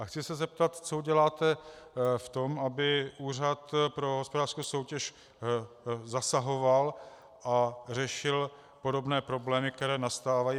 A chci se zeptat, co uděláte v tom, aby Úřad pro hospodářskou soutěž zasahoval a řešil podobné problémy, které nastávají.